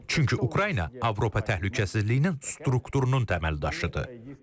Çünki Ukrayna Avropa təhlükəsizliyinin strukturunun təməldaşıdır.